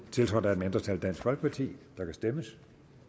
tiltrådt af et mindretal der kan stemmes